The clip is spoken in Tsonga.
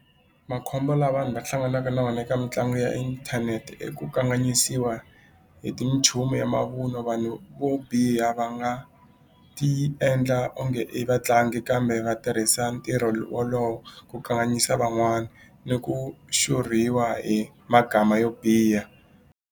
Makhombo lawa vanhu va hlanganaka na wona eka mitlangu ya inthanete i ku kanganyisiwa hi ti nchumu ya mavun'wa vanhu vo biha va nga ti endla onge i vatlangi kambe va tirhisa ntirho wolowo ku kanganyisa van'wana ni ku xurhiwa hi magama yo biha.